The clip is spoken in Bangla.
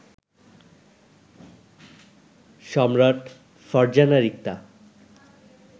সম্রাট, ফারজানা রিক্তা